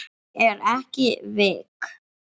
Ég er ekki veik.